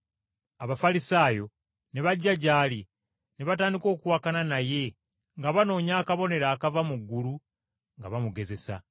Abafalisaayo ne bajja gy’ali ne batandika okuwakana naye nga banoonya akabonero akava mu ggulu nga bamugezesa.